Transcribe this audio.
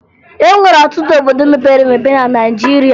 E nwere ọtụtụ obodo mepere emepe na Naịjirịa